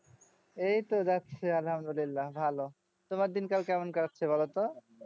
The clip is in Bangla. এই তো যাচ্ছে আল্লাহামদুল্লিলাহ ভালো তোমার দিন কাল কেমন কাটছে বলো তো